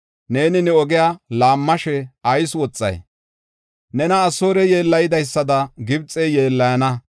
Neeni ne ogiya laammashe ayis woxay? Nena Asoorey yeellaydaysada Gibxey yeellayana.